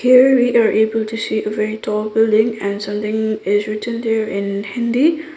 here we are able to see a very tall building and something is written there in hindi.